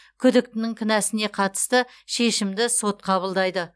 күдіктінің кінәсіне қатысты шешімді сот қабылдайды